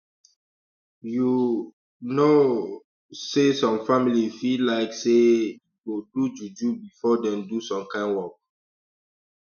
um you um know say some families fit like say eeh go like do juju before dem do some kind work